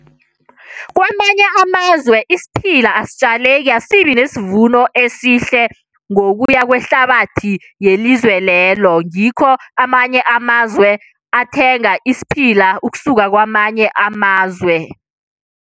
Kwamanye amazwe isiphila asitjaleki, asibi nesivuno esihle ngokuya kwehlabathi yelizwe lelo. Ngikho amanye amazwe athenga isiphila ukusuka kwamanye amazwe.